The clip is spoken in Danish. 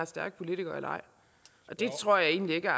stærk politiker eller ej og det tror jeg egentlig ikke er